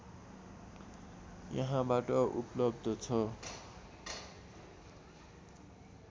यहाँबाट उपलब्ध छ